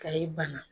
Kayi bana